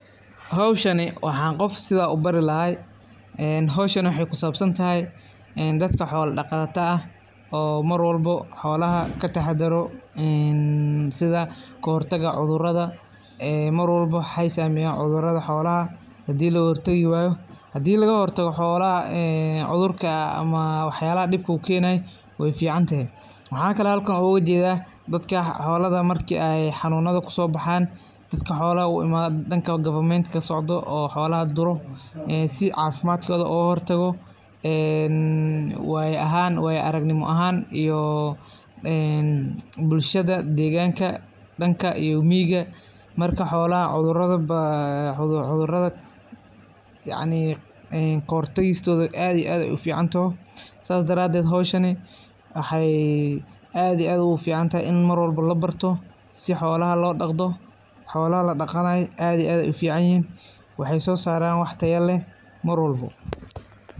Xowshani waxa gof sidha ubari laxay, een xowshani waxay kisabsantaxay dadka xoola daqatada ah, oo mar walbo xoolaxa kataxadaro, een sidha kaxortaga cudurada, een mar walbo waxy sameyan cudurada xoolaxa, xadhi lagaxortagi wayo ,xadhi lagaxortago cudurada ama waxyala diib ukenay way ficantexe, maxa kale xalkan ogu jedha dadk xoolada marki ay xanunada kusobahan, dadka xoolada uimadan, danka government kasocdo oo xoolaxa duro ee si cafimad kuxelan logaxortago, een wayo ahan wayo aragnimo ahan, iyo een bulshada deganka, danka iyo miqaa marka xoola cudurada, cayni kahor tagistodha aad ay uficantoxo, sas daraded xowshaani waxay aad iyo aad uguficanyaxay in mar walbo labarto, si xoola lodagdo, xoolaxa dagaqanay aad iyo aad ayay uficanyixin, waxay sosaran wax tayaa leh marwalbo.